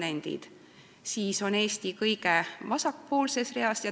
Eesti on siin graafikul kõige vasakpoolsemas reas.